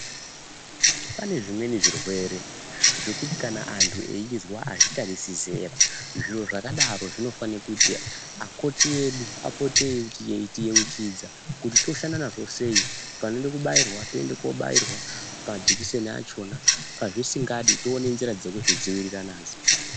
Pane zvimweni zvirwere zvekuti kana antu eizwa azvitarisi zera zviro zvakadaro zvinofana kuti akoti edu apote eiti yeuchidza kuti toshanda nazvo sei vanoda kubairwa toenda kobairwa majekiseni achona pazvisingadi tione nzira dzekudzidzivirira nadzo.